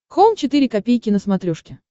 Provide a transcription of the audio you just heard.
хоум четыре ка на смотрешке